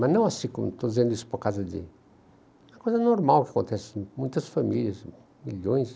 Mas não assim como estou dizendo isso por causa de... É uma coisa normal que acontece, muitas famílias, milhões,